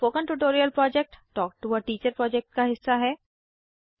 spoken tutorial project talk to a teacher project का हिस्सा है